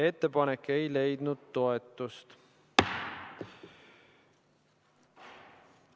Ettepanek ei leidnud toetust.